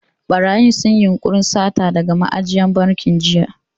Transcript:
Ɓarayin sun yi yunƙurin sata daga ma'ajiyar bankin jiya.